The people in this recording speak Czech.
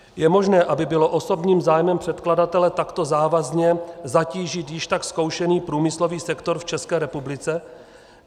Je možné, aby bylo osobním zájmem předkladatele takto závazně zatížit již tak zkoušený průmyslový sektor v České republice?